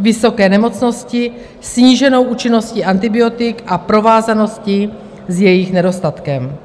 vysoké nemocnosti, sníženou účinností antibiotik a provázaností s jejich nedostatkem.